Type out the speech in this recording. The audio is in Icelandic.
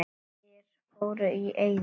Bæir fóru í eyði.